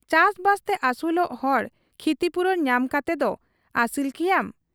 ᱪᱟᱥᱵᱟᱥᱛᱮ ᱟᱹᱥᱩᱞᱚᱜ ᱦᱚᱲ ᱠᱷᱤᱛᱤᱯᱩᱨᱚᱱ ᱧᱟᱢ ᱠᱟᱛᱮᱫᱚ ᱟᱹᱥᱤᱞ ᱠᱮᱭᱟᱢ ?